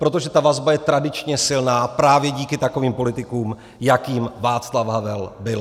Protože ta vazba je tradičně silná právě díky takovým politikům, jakým Václav Havel byl.